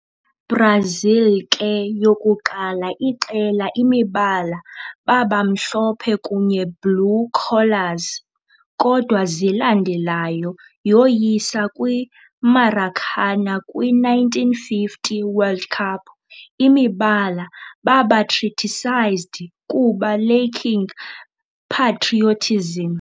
Brazil ke yokuqala iqela imibala baba mhlophe kunye blue collars, kodwa zilandelayo yoyisa kwi - Maracanã kwi-1950 World Cup, imibala baba criticised kuba lacking patriotism.